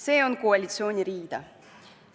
See on koalitsiooni rida.